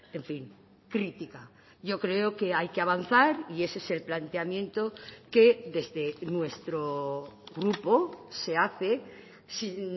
en fin crítica yo creo que hay que avanzar y ese es el planteamiento que desde nuestro grupo se hace sin